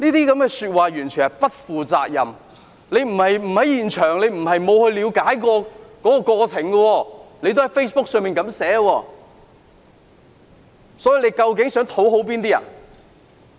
這些說話完全不負責任，他不是不在現場，不是沒有了解過程，卻在 Facebook 這樣寫，他究竟想討好哪些人？